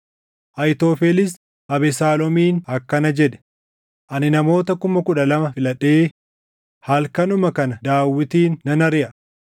Ahiitofelis Abesaaloomiin akkana jedhe; “Ani namoota kuma kudha lama filadhee halkanuma kana Daawitin nan ariʼa.